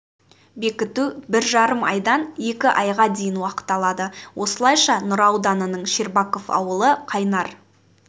бекіту бір жарым айдан екі айға дейін уақыт алады осылайша нұра ауданының щербаков ауылы қайнар